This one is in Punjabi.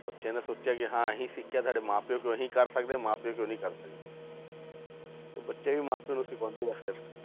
ਬੱਚਿਆਂ ਨੇ ਸੋਚਿਆ ਕਿ ਹਾਂ ਅਸੀਂ ਸਿੱਖਿਆ ਸਾਡੇ ਮਾਂ ਪਿਓ ਕਿਉਂ ਨੀ ਕਰ ਸਕਦੇ, ਮਾਂ ਪਿਓ ਕਿਉਂ ਨੀ ਕਰ ਸਕਦੇ ਬੱਚੇ ਵੀ ਮਾਂ ਪਿਓ ਨੂੰ ਸਿਖਾਉਂਦੇ ਆ ਫਿਰ